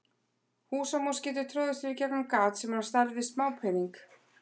Húsamús getur troðið sér í gegnum gat sem er á stærð við smápening.